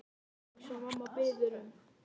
Edda gerir eins og mamma biður um.